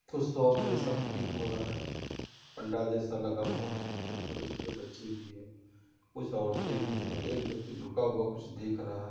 कुछ शॉप जैसा प्रतीत हो रहा है पंडाल जैसा लगा हुआ है कुछ छोटे छोटे बच्चे भी हैं कुछ औरतें भी हैं एक व्यक्ति झुका हुआ कुछ देख रहा है।